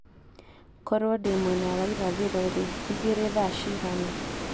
korũo ndĩ mwena wa irathĩro-rĩ, igiri thaa cigana